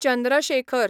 Chandra Shekhar